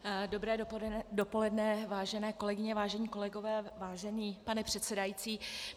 Dobré dopoledne, vážené kolegyně, vážení kolegové, vážený pane předsedající.